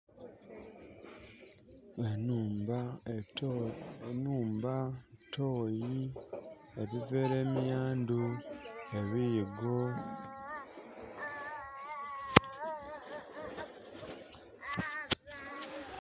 Enhumba, toyi, ebivera emiyandhu ebiyigo.